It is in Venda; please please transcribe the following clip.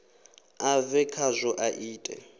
a bve khazwo a ite